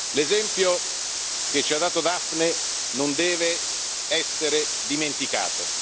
L'esempio che ci ha dato Daphne non deve essere dimenticato.